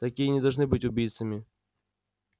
такие не должны быть убийцами